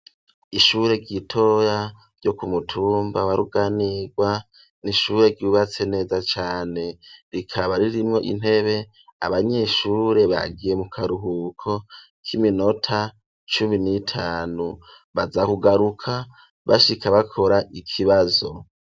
Ishure ritoya ryo ku mutumba wa Ruganirwa n'ishure ryubatse neza cane rikaba ririmwo intebe abanyeshure bagiye mu karuhuko k'iminota cumi n'itanu baza kugaruka bashika bakora ikibazo.